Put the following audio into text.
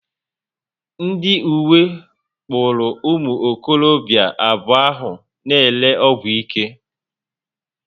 Ndi uwe kpụrụ ụmụ okorobịa abuo ahụ na ere ọgwụ ike